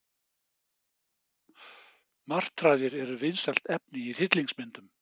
Martraðir eru vinsælt efni í hryllingsmyndum.